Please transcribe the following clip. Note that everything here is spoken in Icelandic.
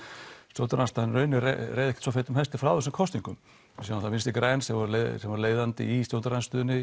stjórnarandstaðan í rauninni reið ekkert svo feitum hesti frá þessum kosningum við sjáum að Vinstri græn sem voru leiðandi í stjórnarandstöðunni